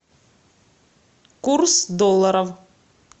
курс доллара